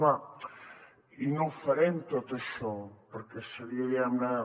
clar i no ho farem tot això perquè seria diguem ne